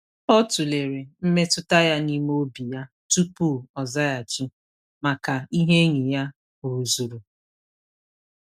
Ọ tụlere mmetụta ya n’ime obi ya, tupu ọ zaghachi maka ihe enyi ya rụzuru.